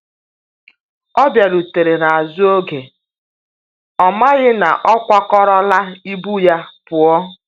Ọ biarutere n'azu oke, ọmaghi na ọkwa kọrọ la ibụ ya puọ